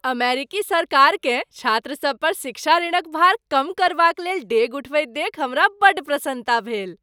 अमेरिकी सरकारकेँ छात्रसभ पर शिक्षा ऋणक भार कम करबाकलेल डेग उठबैत देखि हमरा बड़ प्रसन्नता भेल।